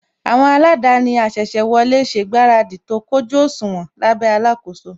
Àwọn aladaani asese wọlé ṣe ìgbáradì tó kójú òṣùwọ̀n lábẹ́ alakoso